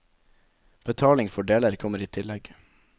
Betaling for deler kommer i tillegg.